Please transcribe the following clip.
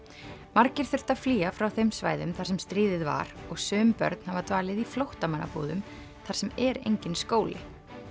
margir þurftu að flýja frá þeim svæðum þar sem stríðið var og sum börn hafa dvalið í flóttamannabúðum þar sem er enginn skóli